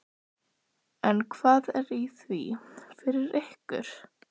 Þóra Kristín Ásgeirsdóttir: En hvað er í því fyrir ykkur?